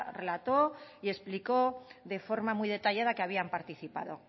relató y explicó de forma muy detallada que habían participado